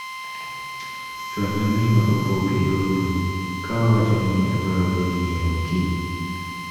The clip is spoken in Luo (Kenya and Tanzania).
Chual ne minwa obok e yor mbui ka owachone ni adwaro dhi ng'iewo kiny.